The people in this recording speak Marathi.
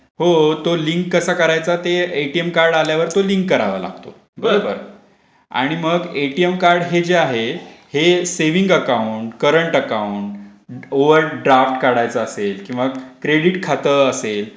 हो तो लिंक कसं करायचं ? ते एटीएम कार्ड आल्यावर तो लिंक करावा लागतातो. बरोबर !आणि मग एटीएम कार्ड हे जे आहे. ते saving account, current account, overdraft काढायचं असेल किंवा क्रेडिट खात असेल.